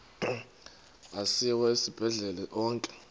asiwa esibhedlele onke